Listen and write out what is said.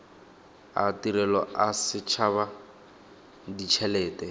a tirelo a setshaba ditshelete